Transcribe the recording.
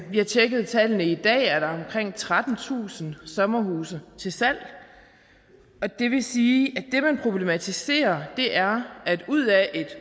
vi har tjekket tallene i dag er der omkring trettentusind sommerhuse til salg det vil sige at det man problematiserer er at ud af et